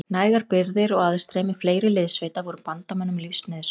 Nægar birgðir og aðstreymi fleiri liðssveita voru bandamönnum lífsnauðsynlegar.